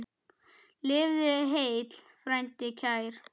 Lifðu heill, frændi kær!